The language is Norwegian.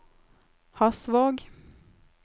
Hasvåg